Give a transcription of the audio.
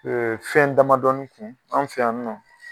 fɛn damadɔɔni kun anw fɛ yan nɔ